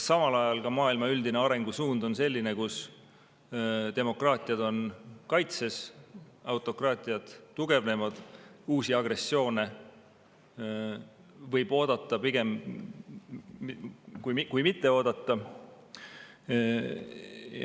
Samal ajal on kogu maailma üldine arengusuund selline, et demokraatiad on kaitses, autokraatiad tugevnevad, uusi agressioone pigem oodata, kui mitte oodata.